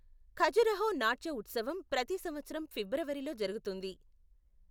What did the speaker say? ఖజురహో నాట్య ఉత్సవం ప్రతి సంవత్సరం ఫిబ్రవరిలో జరుగుతుంది.